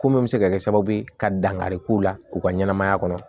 Ko min bɛ se ka kɛ sababu ye ka dankari k'u la u ka ɲɛnɛmaya kɔnɔ